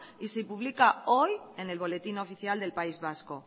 y se publica hoy en el boletín oficial del país vasco